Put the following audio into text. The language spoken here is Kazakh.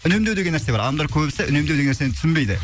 үнемдеу деген нәрсе бар адамдар көбісі үнемдеу деген нәрсені түсінбейді